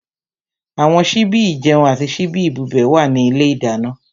Àwọn síbí ìjẹun àti síbí ìbubẹ̀ wà ní ilé ìdáná.